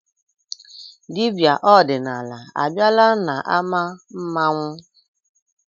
Dibịa ọdịnala abịala n'ámá mmanwụ?